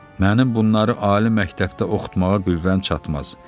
Mənim bunları ali məktəbdə oxutmağa qüvvəm çatmaz.